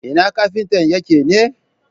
Ina kafintan yake ne?